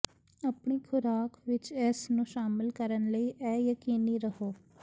ਆਪਣੇ ਖੁਰਾਕ ਵਿੱਚ ਇਸ ਨੂੰ ਸ਼ਾਮਲ ਕਰਨ ਲਈ ਇਹ ਯਕੀਨੀ ਰਹੋ